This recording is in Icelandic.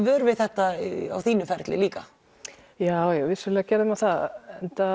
vör við þetta á þínum ferli líka já já vissulega gerði maður það